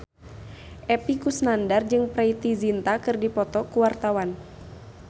Epy Kusnandar jeung Preity Zinta keur dipoto ku wartawan